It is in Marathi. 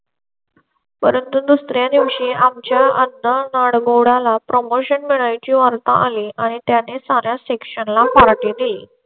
परंतु दुसर् या दिवशी आमच्या अंधळा ला प्रमोशन मिळाल्या ची वार्ता आली आणि त्याने सारा Section ला party दिली.